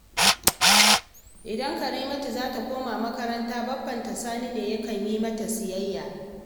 Idan Karimatu za ta koma makaranta baffanta Sani ne yake yi mata siyayya